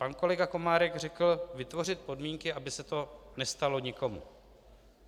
Pan kolega Komárek řekl: "Vytvořit podmínky, aby se to nestalo nikomu."